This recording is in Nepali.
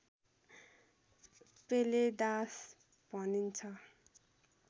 पेलेदास भनिन्छ